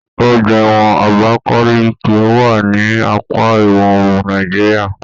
Ọgbà ẹwọn Abakaliki wà ní apá ìwọòrùn Nàìjíríà